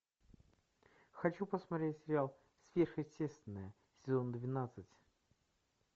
хочу посмотреть сериал сверхъестественное сезон двенадцать